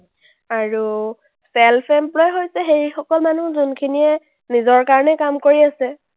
আৰু self employed হৈছে সেইসকল মানুহ যোনখিনিয়ে নিজৰ কাৰণে কাম কৰি আছে।